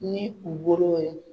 Ni u bolow ye.